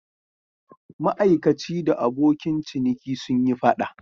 Ma'aikaci da abokin ciniki sun yi fada.